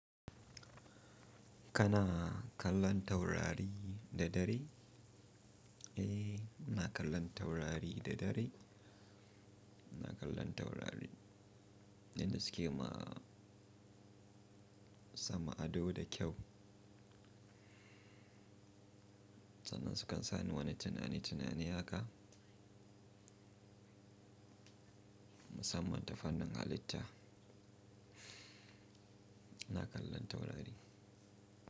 Kana kallon taurari da dare? Eh, ina kallon taurari da dare. Ina kallon taurari. In da suke ma sama ado da kyau. Sannan sukan sani wani tinani tinani haka. Musamman ta fannin halitta. Ina kallon taurari.